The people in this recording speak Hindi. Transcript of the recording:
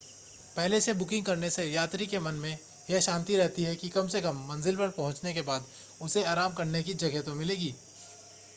पहले से बुकिंग करने से यात्री के मन में यह शांति रहती है कि कम से कम मंज़िल पर पहुंचने के बाद उसे आराम करने की जगह तो मिलेगी